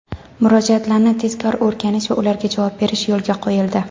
murojaatlarni tezkor o‘rganish va ularga javob berish yo‘lga qo‘yildi.